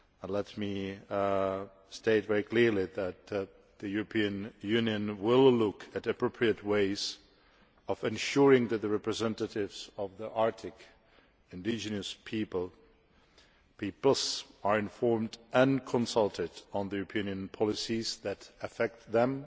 Let me state very clearly that the European Union will look at appropriate ways of ensuring that the representatives of the Arctic indigenous peoples are informed and consulted on European policies that affect them,